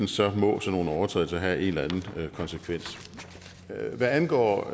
sådan nogle overtrædelser have en eller anden konsekvens hvad angår